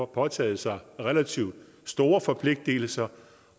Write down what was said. påtaget sig relativt store forpligtelser